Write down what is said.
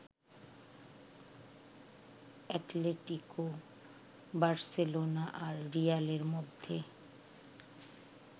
Atletico, Barcelona আর রিয়ালের মধ্যে